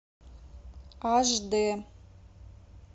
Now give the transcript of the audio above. аш дэ